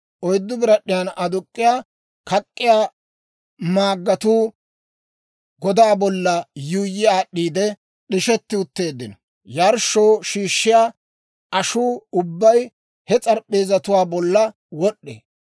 Oyddu birad'd'iyaa aduk'k'iyaa kak'k'iyaa maaggatuu godaa bolla yuuyyi aad'd'iide d'ishetti utteeddino. Yarshshoo shiishshiyaa ashuu ubbay he s'arp'p'eezatuwaa bolla wod'd'ee.